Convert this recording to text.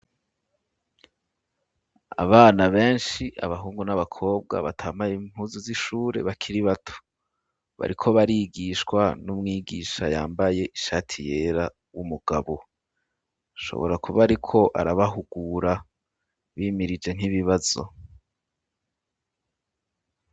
Abana benshi abahungu n'abakobwa batambaye impuzu z'ishure bakiri bato bariko barigishwa n'umwigisha yambaye ishati yera w'umugabo ashobora kuba ariko arabahugura bimirije nk'ibibazo.